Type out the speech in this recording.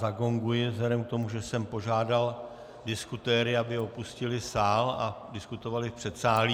Zagonguji vzhledem k tomu, že jsem požádal diskutéry, aby opustili sál a diskutovali v předsálí.